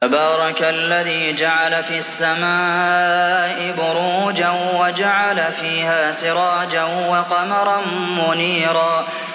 تَبَارَكَ الَّذِي جَعَلَ فِي السَّمَاءِ بُرُوجًا وَجَعَلَ فِيهَا سِرَاجًا وَقَمَرًا مُّنِيرًا